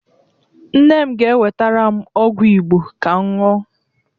Nne m ga-ewetara m ọgwụ Igbo ka m ṅụọ